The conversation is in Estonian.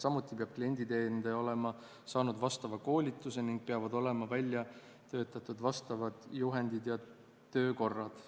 Samuti peab klienditeenindaja olema saanud vastava koolituse ning peavad olema välja töötatud vastavad juhendid ja töökorrad.